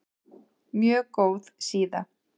Mjög góð síða.